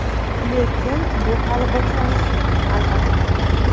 Lekin bu hali boshlanishi, albatta.